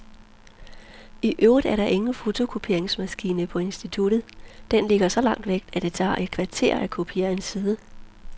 I øvrigt er der ingen fotokopieringsmaskine på instituttet, den ligger så langt væk, at det tager et kvarter at kopiere en side.